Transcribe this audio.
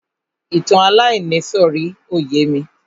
Ìtàn aláìníìsọ̀rí ò yémi.